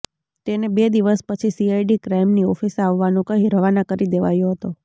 તેને બે દિવસ પછી સીઆઇડી ક્રાઇમની ઓફિસે આવવાનું કહી રવાના કરી દેવાયો હતો